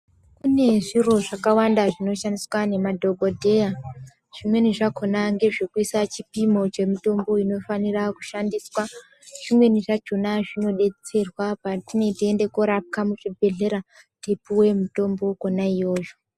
Kune zviro zvakawanda zvinoshandiswa nemadhokodheya , zvimweni zvakhona ngezvekuisa chipimo chemutimbo inofanira kushandiswa. Zvimweni zvachona zvinodetserwa patine teienda korapwa muzvibhedhleya, tichipuwe mitombo kwona iyoyo.